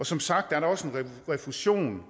som sagt er der også en refusion